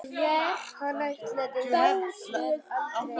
Hann ætlaði sér aldrei af.